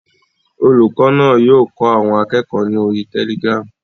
Olùkọ́ náà yóò kọ́ àwọn akẹ́kọ̀ọ́ ni orí Telegram.